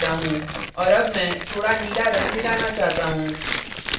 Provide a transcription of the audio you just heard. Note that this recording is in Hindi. और add मैं थोड़ा नीला रंग मिलाना चाहता हूँ